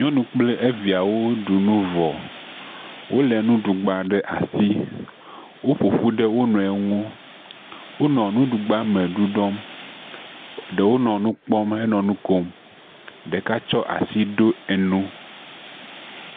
Nyɔnu kple eviawo ɖu vɔ, wolé nugbaɖe ɖe asi, woƒoƒu ɖe wo nɔewo ŋu. Wonɔ nuɖugba me ɖuɖɔm, ɖewo nɔ nu kpɔm hele nu kom, ɖeka tsɔ asi ɖo enu.